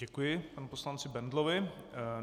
Děkuji panu poslanci Bendlovi.